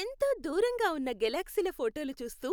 ఎంతో దూరంగా ఉన్న గెలాక్సీల ఫోటోలు చూస్తూ,